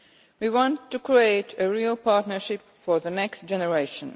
We want to create a real partnership for the next generation.